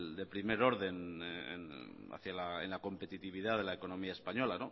de primer orden en la competitividad de la economía española